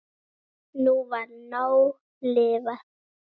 Nú var nóg lifað.